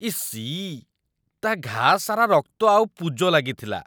EC, ତା' ଘାଆ ସାରା ରକ୍ତ ଆଉ ପୁଜ ଲାଗିଥିଲା ।